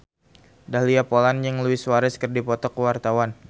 Dahlia Poland jeung Luis Suarez keur dipoto ku wartawan